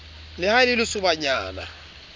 le ha e le lesobanyana